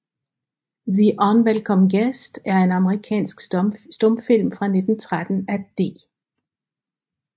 The Unwelcome Guest er en amerikansk stumfilm fra 1913 af D